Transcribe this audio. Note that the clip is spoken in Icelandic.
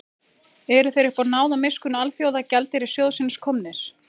Eru þeir uppá náð og miskunn Alþjóðagjaldeyrissjóðsins komnir?